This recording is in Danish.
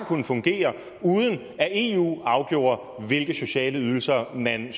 kunnet fungere uden at eu afgjorde hvilke sociale ydelser man